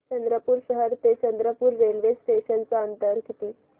चंद्रपूर शहर ते चंद्रपुर रेल्वे स्टेशनचं अंतर किती